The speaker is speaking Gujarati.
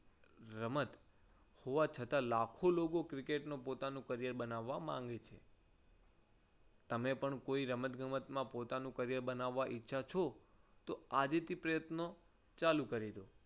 રમત હોવા છતાં લાખો લોકો ક્રિકેટ ને પોતાનું career બનાવવા માંગે છે. તમે પણ કોઈ રમતગમતમાં પોતાનું career ર બનાવવા ઈચ્છો છો તો આજથી જ પ્રયત્નો ચાલુ કરી દો.